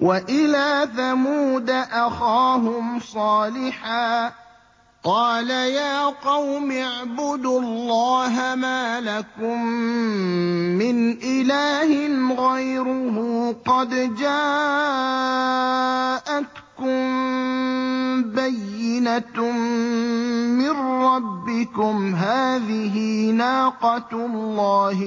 وَإِلَىٰ ثَمُودَ أَخَاهُمْ صَالِحًا ۗ قَالَ يَا قَوْمِ اعْبُدُوا اللَّهَ مَا لَكُم مِّنْ إِلَٰهٍ غَيْرُهُ ۖ قَدْ جَاءَتْكُم بَيِّنَةٌ مِّن رَّبِّكُمْ ۖ هَٰذِهِ نَاقَةُ اللَّهِ